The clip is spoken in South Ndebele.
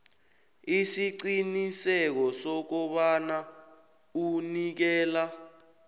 isiqiniseko sokobana unikela